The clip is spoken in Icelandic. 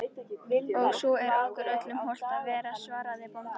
Og svo er okkur öllum hollt að vera, svaraði bóndinn.